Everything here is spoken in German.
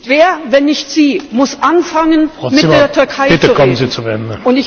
Wer, wenn nicht Sie, muss anfangen, mit der Türkei zu reden?